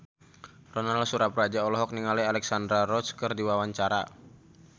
Ronal Surapradja olohok ningali Alexandra Roach keur diwawancara